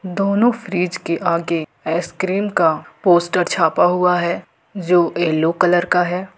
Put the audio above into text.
दोनों फ्रिज के आगे आइसक्रीम का पोस्टर छापा हुआ है जो येलो कलर का है।